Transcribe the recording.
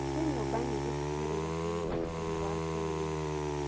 Kwĩ nyũmba nyingĩ cithiũrũrũkĩirie cukuru ya KU.